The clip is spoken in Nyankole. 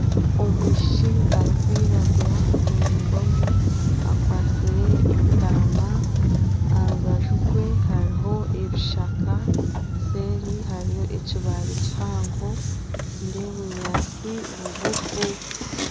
Omwishiki arikwiragura muraingwamu akwatsire entama aha rubaju rwe hariho ebishaka seeri hariyo ekibaare kihango nindeeba obunyaatsi bugufu